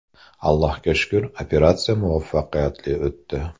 Allohga shukr, operatsiya muvaffaqiyatli o‘tdi.